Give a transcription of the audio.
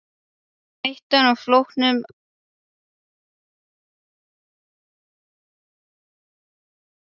Hættan á að flóttinn afhjúpaði mig í eigin augum.